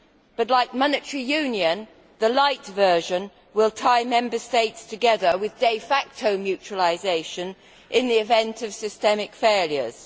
But, like monetary union, the lite' version will tie Member States together with de facto mutualisation in the event of systemic failures.